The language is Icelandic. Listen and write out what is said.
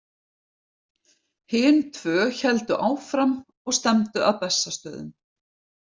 Hin tvö héldu áfram og stefndu að Bessastöðum.